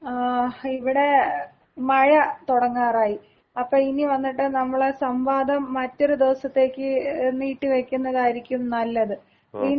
ങ്ങാ, ഇവിടെ മഴ തുടങ്ങാറായി. അപ്പോ ഇനി വന്നിട്ട് നമ്മുടെ സംവാദം മറ്റൊരു ദിവസത്തേക്ക് നീട്ടി വക്കുന്നതായിരിക്കും നല്ലത്. വീണ്ടും....